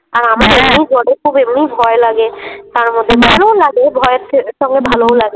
আর আমারতো এমনি জলে খুব এমনি ভয় লাগে তারমধ্যে ভালোও লাগে ভয়ের সঙ্গে ভালোও লাগে ।